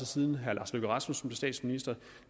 siden herre lars løkke rasmussen blev statsminister